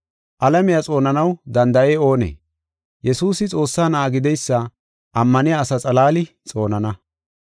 Alamiya xoonanaw danda7ey oonee? Yesuusi Xoossaa Na7aa gideysa ammaniya asa xalaali xoonana.